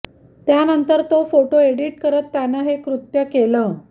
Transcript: त्यानंतर तो photo edit करत त्यानं हे कृत्य केलं